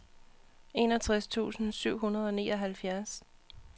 enogtres tusind syv hundrede og nioghalvfjerds